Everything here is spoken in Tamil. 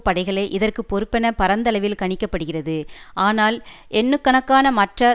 படைகளே இதற்கு பொறுப்பென பரந்தளவில் கணிக்க படுகிறது ஆனால் எண்ணுக்கணக்கான மற்றய